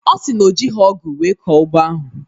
Ọ si na o jighị ọgụ wee kọọ ugbo ahụ